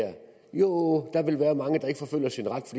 jo der vil være mange der